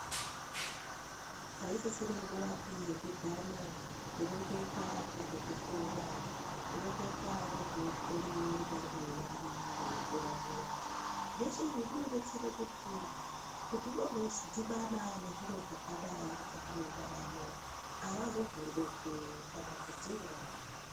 Haisiri nguwapi yeku dhana kureketa ngezvekukura kureketa ngezvinoitike mumwiri yevana veikura zviya zveshe izvi zvinodetsere kuti ,kuti vozodhibana nezviro zvakadai mukati mwendaramo avazovhunduki kana kudziuraya.